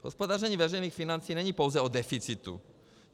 Hospodaření veřejných financí není pouze o deficitu.